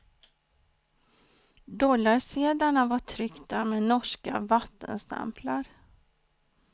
Dollarsedlarna var tryckta med norska vattenstämplar.